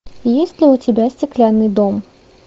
есть ли у тебя стеклянный дом